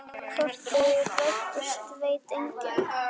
Hvort þau rættust veit enginn.